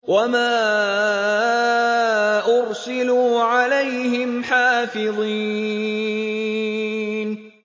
وَمَا أُرْسِلُوا عَلَيْهِمْ حَافِظِينَ